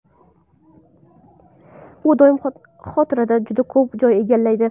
U doimiy xotirada juda ko‘p joy egallaydi.